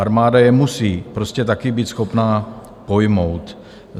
Armáda je musí prostě také být schopná pojmout.